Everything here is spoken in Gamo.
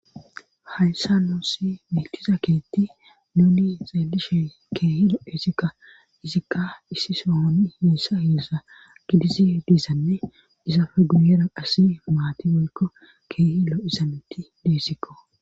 Hayssa nosi meetiza keetti nuuni zaelishe keehilo isikka izikka issi soohon heessa heessa gidizi diisanne isa faguyera asi maati molko keehilo izanetti deessikko.